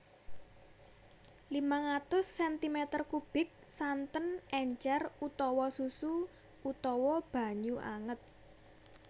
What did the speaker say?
limang atus sentimeter kubik santen encer utawa susu utawa banyu anget